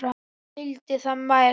Hann vildi það mest.